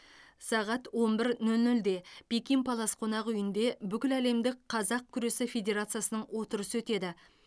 сағат он бір нөл нөлде пекин палас қонақ үйінде бүкіләлемдік қазақ күресі федерациясының отырысы өтеді